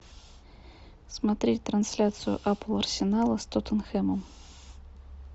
смотреть трансляцию апл арсенала с тоттенхэмом